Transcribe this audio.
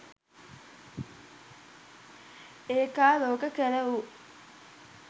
ඒකාලෝක කර වූ